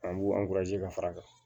An b'u ka fara a kan